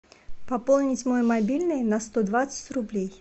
пополнить мой мобильный на сто двадцать рублей